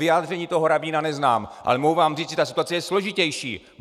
Vyjádření toho rabína neznám, ale mohu vám říct, že ta situace je složitější!